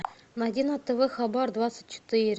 найди на тв хабар двадцать четыре